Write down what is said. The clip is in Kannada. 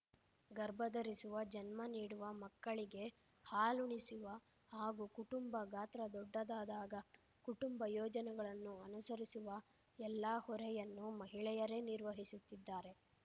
ಗರ್ಭಧರಿಸುವ ಜನ್ಮನೀಡುವ ಮಕ್ಕಳಿಗೆ ಹಾಲುಣಿಸುವ ಹಾಗೂ ಕುಟುಂಬ ಗಾತ್ರ ದೊಡ್ಡದಾದಾಗ ಕುಟುಂಬ ಯೋಜನೆಗಳನ್ನು ಅನುಸರಿಸುವ ಎಲ್ಲಾ ಹೊರೆಯನ್ನು ಮಹಿಳೆಯರೇ ನಿರ್ವವಹಿಸುತ್ತಿದ್ದಾರೆ